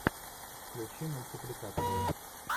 включи мультипликацию